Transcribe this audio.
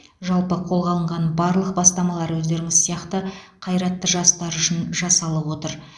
жалпы қолға алынған барлық бастамалар өздеріңіз сияқты қайратты жастар үшін жасалып отыр